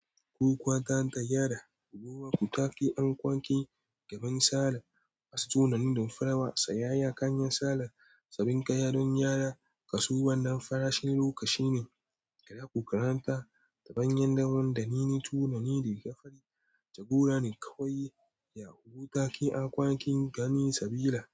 Ku kwata hanyar yara, ku wuka taki an kwaki gaban sale. A wasu tunani don farawa, tsayayye a kanyan sale, tsabinka yadon yara, kasuwan nan farashin lokaci ne. Kada ku karanta ta hanyar damuwa da nini tunani da ka fari. Jagora ne kawai, ya wuka taki an kwaki gani sabila.